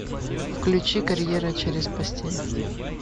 включи карьера через постель